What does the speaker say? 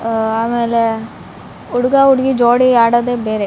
ಆಮೇಲೆ ಹುಡ್ಗ ಹುಡ್ಗಿ ಜೋಡಿ ಆಡೋದೆ ಬೇರೆ --